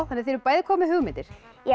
þið eruð bæði komin með hugmyndir